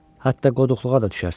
Hətta qoduqluğa da düşərsən.